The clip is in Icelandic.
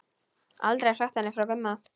Aldrei sagt henni frá Gumma.